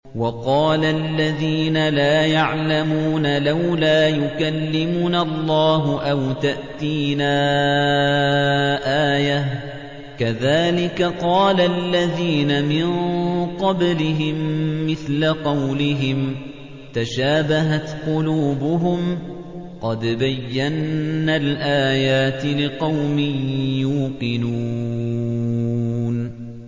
وَقَالَ الَّذِينَ لَا يَعْلَمُونَ لَوْلَا يُكَلِّمُنَا اللَّهُ أَوْ تَأْتِينَا آيَةٌ ۗ كَذَٰلِكَ قَالَ الَّذِينَ مِن قَبْلِهِم مِّثْلَ قَوْلِهِمْ ۘ تَشَابَهَتْ قُلُوبُهُمْ ۗ قَدْ بَيَّنَّا الْآيَاتِ لِقَوْمٍ يُوقِنُونَ